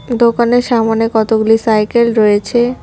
দোকানের সামনে কতগুলি সাইকেল রয়েছে।